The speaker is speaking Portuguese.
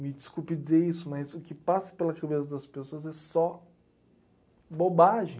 Me desculpe dizer isso, mas o que passa pela cabeça das pessoas é só bobagem.